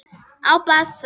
Á bassa.